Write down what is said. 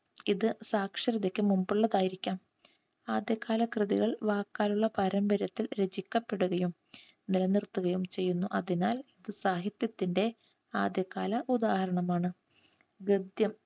ഇത് സാക്ഷരതയ്ക്ക് മുൻപുള്ളതായിരിക്കാം. ആദ്യകാല കൃതികൾ വാക്കാലുള്ള പാരമ്പര്യത്തിൽ രചിക്കപ്പെടുകയും നിലനിർത്തുകയും ചെയ്യുന്നു. അതിനാൽ ഇത് സാഹിത്യത്തിൻറെ ആദ്യകാല ഉദാഹരണമാണ്.